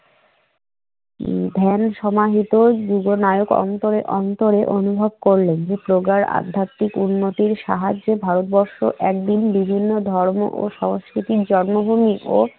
উম ধ্যান সমাহিত জীবনায়ক অন্তরে অন্তরে অনুভব করলেন। প্রগাঢ় আধ্যাত্মিক উন্নতির সাহায্যে ভারতবর্ষ একদিন বিভিন্ন ধর্ম ও সংস্কৃতির জন্মভূমি ও